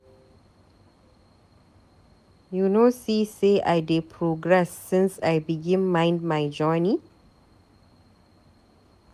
You no see sey I dey progress since I begin mind my journey?